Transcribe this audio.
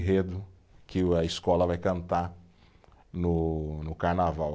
que o a escola vai cantar no no carnaval.